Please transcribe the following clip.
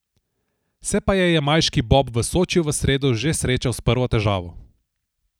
Se pa je jamajški bob v Sočiju v sredo že srečal s prvo težavo.